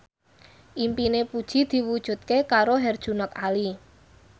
impine Puji diwujudke karo Herjunot Ali